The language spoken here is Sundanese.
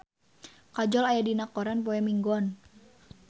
Kajol aya dina koran poe Minggon